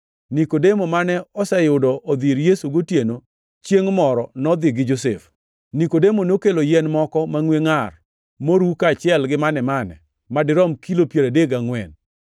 Nikodemo mane oseyudo odhi ir Yesu gotieno chiengʼ moro nodhi gi Josef. Nikodemo nokelo yien moko mangʼwe ngʼar moru kaachiel mane-mane madirom kilo piero adek gangʼwen.